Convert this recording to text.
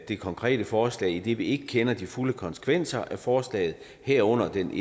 det konkrete forslag idet vi ikke kender de fulde konsekvenser af forslaget herunder den